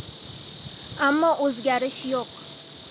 Ammo o‘zgarish yo‘q.